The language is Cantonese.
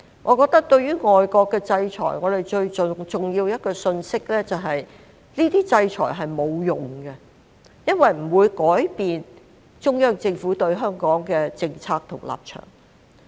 我覺得對於外國的制裁，最重要的一個信息就是這些制裁是沒有用的，不會改變中央政府對香港的政策和立場。